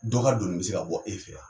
Dɔ ka donni mi se ka bɔ, e fɛ yan.